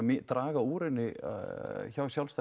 draga úr henni hjá sjálfstætt